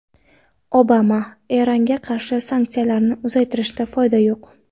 Obama: Eronga qarshi sanksiyalarni uzaytirishdan foyda yo‘q.